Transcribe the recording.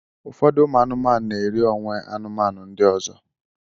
Ụfọdụ ụmụ anụmanụ na-eri onwe anụmanụ ndị ọzọ